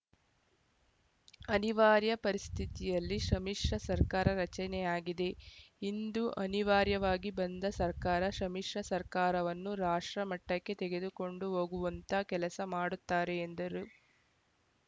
ಅನಿವಾರ್ಯ ಪರಿಸ್ಥಿತಿಯಲ್ಲಿ ಸಮ್ಮಿಶ್ರ ಸರ್ಕಾರ ರಚನೆಯಾಗಿದೆ ಇದು ಅನಿವಾರ್ಯವಾಗಿ ಬಂದ ಸರ್ಕಾರ ಸಮ್ಮಿಶ್ರ ಸರ್ಕಾರವನ್ನು ರಾಷ್ಟ್ರಮಟ್ಟಕ್ಕೆ ತೆಗೆದುಕೊಂಡು ಹೋಗುವಂಥ ಕೆಲಸ ಮಾಡುತ್ತಾರೆ ಎಂದರು